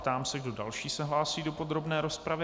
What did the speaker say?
Ptám se, kdo další se hlásí do podrobné rozpravy.